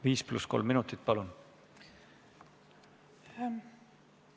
Viis pluss kolm minutit, palun!